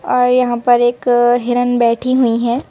और यहां पर एक हिरण बैठी हुई है।